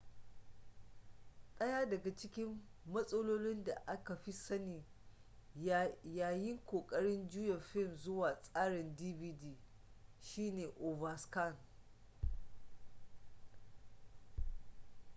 daya daga cikin matsalolin da aka fi sani yayin kokarin juya fim zuwa tsarin dvd shine overscan